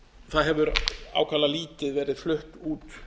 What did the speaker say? það hefur ákaflega lítið verið flutt út